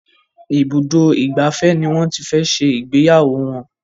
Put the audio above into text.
Ibùdó ìgbafẹ́ ní wón tí fè ṣe Ìgbéyàwó wón.